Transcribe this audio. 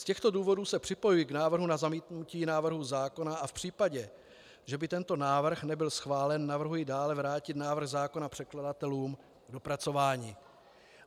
Z těchto důvodů se připojuji k návrhu na zamítnutí návrhu zákona a v případě, že by tento návrh nebyl schválen, navrhuji dále vrátit návrh zákona předkladatelům k dopracování.